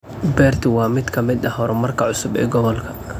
Beertu waa mid ka mid ah horumarka cusub ee gobolka.